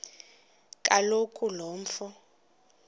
kaloku lo mfo